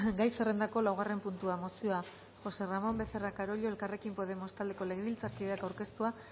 gai zerrendako laugarren puntua mozioa josé ramón becerra carollo elkarrekin podemos taldeko legebiltzarkideak aurkeztua